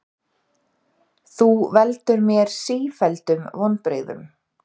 Þú veldur mér sífelldum vonbrigðum.